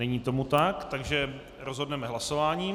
Není tomu tak, takže rozhodneme hlasováním.